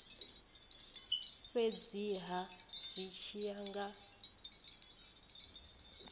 fhedziha zwi tshi ya nga